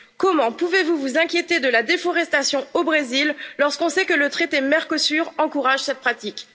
Comment pouvez vous vous inquiéter de la déforestation au Brésil lorsqu'on sait que le traité du Mercosur encourage cette pratique?